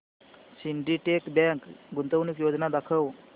Syndicate bank गुंतवणूक योजना दाखव